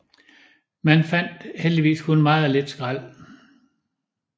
Man fandt heldigvis kun meget lidt skrald